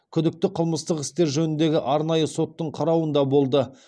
күдікті қылмыстық істер жөніндегі арнайы соттың қарауында болды